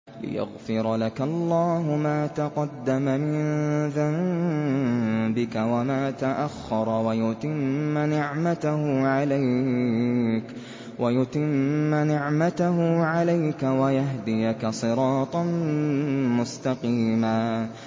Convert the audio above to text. لِّيَغْفِرَ لَكَ اللَّهُ مَا تَقَدَّمَ مِن ذَنبِكَ وَمَا تَأَخَّرَ وَيُتِمَّ نِعْمَتَهُ عَلَيْكَ وَيَهْدِيَكَ صِرَاطًا مُّسْتَقِيمًا